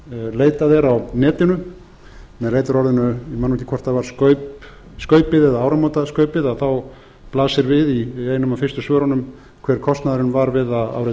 leitað er á netinu með leitarorðinu ég man ekki hvort það var skaupið eða áramótaskaupið þá blasir við í einum af fyrstu svörunum hver kostnaðurinn var við það árið